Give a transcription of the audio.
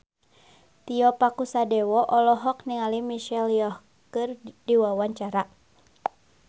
Tio Pakusadewo olohok ningali Michelle Yeoh keur diwawancara